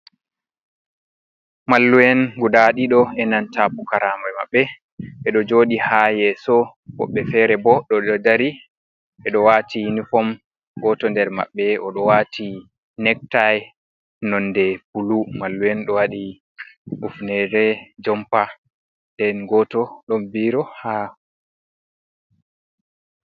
Mallu'en guda ɗiɗo "enanta pukaraɓe maɓɓe ɓe ɗo joɗi ha yeso. Woɓɓe fere bo ɗo dari ɓeɗo wati inifom. Goto nder maɓɓe ɗo wati nektai nonde bulu. Mallu'en ɗo waɗi kufnere jompa den goto ɗon biro ha.